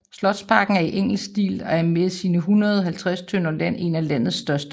Slotsparken er i engelsk stil og er med sine 150 tønder land en af landets største